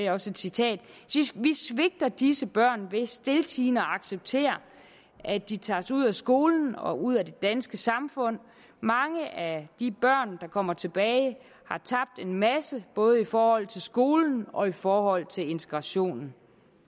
er også et citat vi svigter disse børn ved stiltiende at acceptere at de tages ud af skolen og ud af det danske samfund mange af de børn der kommer tilbage har tabt en masse både i forhold til skolen og i forhold til integrationen